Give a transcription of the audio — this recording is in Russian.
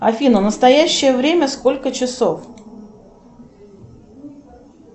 афина в настоящее время сколько часов